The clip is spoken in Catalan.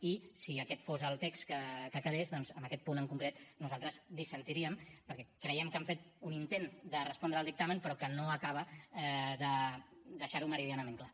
i si aquest fos el text que quedés doncs en aquest punt en concret nosaltres dissentiríem perquè creiem que han fet un intent de respondre al dictamen però que no acaba de deixar ho meridianament clar